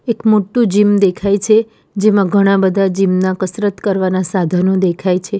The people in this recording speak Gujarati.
એક મોટું જિમ દેખાય છે જેમાં ઘણા બધા જિમ ના કસરત કરવાના સાધનો દેખાય છે.